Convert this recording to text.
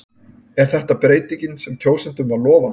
Er þetta breytingin sem kjósendum var lofað?